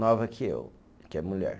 Nova que eu, que é mulher.